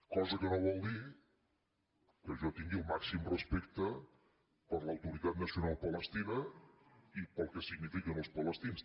cosa que no vol dir que jo tingui el màxim respecte per l’autoritat nacional palestina i pel que signifiquen els palestins